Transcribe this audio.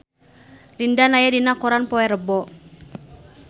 Lin Dan aya dina koran poe Rebo